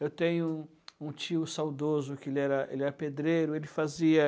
Eu tenho um um tio saudoso que ele era, ele é pedreiro, ele fazia